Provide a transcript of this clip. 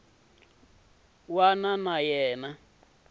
wana na yin wana yo